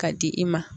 K'a di i ma